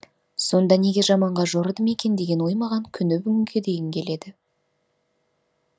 сонда неге жаманға жорыдым екен деген ой маған күні бүгінге дейін келеді